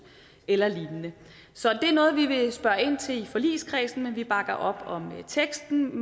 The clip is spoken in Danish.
eller lignende så det er noget vi vil spørger ind til i forligskredsen men vi bakker op om teksten